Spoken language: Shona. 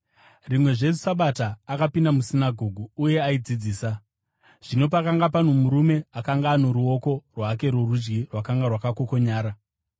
Rimwezve Sabata akapinda musinagoge uye aidzidzisa, zvino pakanga pano murume akanga ano ruoko rwake rworudyi rwakanga rwakakokonyara.